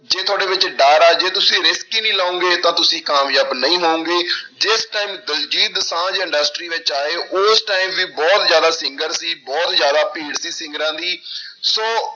ਜੇ ਤੁਹਾਡੇ ਵਿੱਚ ਡਰ ਆ ਜੇ ਤੁਸੀਂ risk ਹੀ ਨੀ ਲਓਗੇ ਤਾਂ ਤੁਸੀਂ ਕਾਮਯਾਬ ਨਹੀਂ ਹੋਵੋਂਗੇ ਜਿਸ time ਦਲਜੀਤ ਦੋਸਾਂਝ industry ਵਿੱਚ ਆਏ ਉਸ time ਵੀ ਬਹੁਤ ਜ਼ਿਆਦਾ singer ਸੀ ਬਹੁਤ ਜ਼ਿਆਦਾ ਭੀੜ ਸੀ ਸਿੰਗਰਾਂ ਦੀ ਸੋ